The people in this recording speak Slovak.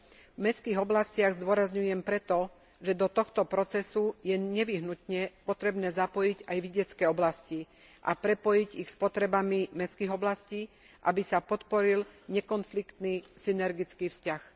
V mestských oblastiach zdôrazňujem preto, že do tohto procesu je nevyhnutne potrebné zapojiť aj vidiecke oblasti a prepojiť ich s potrebami mestských oblastí, aby sa podporil nekonfliktný synergický vzťah.